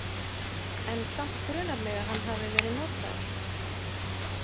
En samt grunar mig að hann hafi verið notaður.